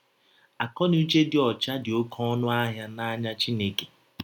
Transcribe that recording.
Akọnuche dị ọcha dị ọké ọnụ ahịa n’anya Chineke.